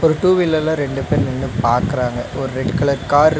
two வீலர்ல ரெண்டு பேர் நின்னு பாக்கறாங்க ஒரு ரெட் கலர் காரு --